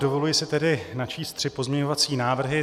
Dovoluji si tedy načíst tři pozměňovací návrhy.